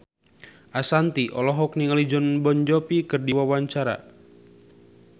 Ashanti olohok ningali Jon Bon Jovi keur diwawancara